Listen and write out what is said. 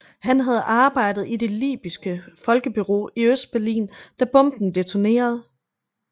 Han havde arbejdet i det libyske folkebureau i Østberlin da bomben detonerede